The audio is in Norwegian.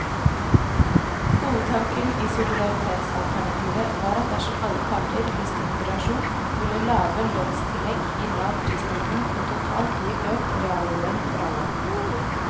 Hovedtanken i solidaritetsalternativet var at dersom alle parter viste moderasjon, ville lave lønnstillegg gi lav prisstigning og totalt gi økt reallønn for alle.